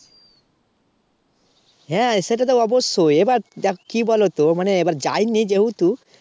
হ্যাঁ সেটা তো অবশ্যই এবার দেখো কি বলতো মানে এবার যায়নি যেহেতু